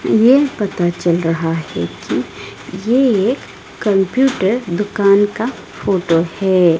येह पता चल रहा है कि ये एक कंप्यूटर दुकान का फोटो है।